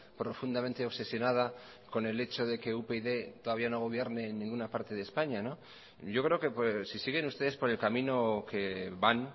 profundamente obsesionada con el hecho de que upyd todavía no gobierne en ninguna parte de españa yo creo que si siguen ustedes por el camino que van